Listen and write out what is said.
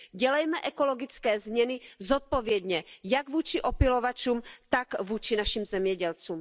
Dělejme ekologické změny zodpovědně jak vůči opylovačům, tak vůči našim zemědělcům.